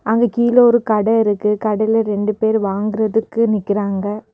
அங்க கீழ ஒரு கடை இருக்கு கடையில ரெண்டு பேரு வாங்குறதுக்கு நிக்கிறாங்க.